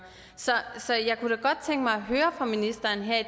så jeg kunne da godt tænke mig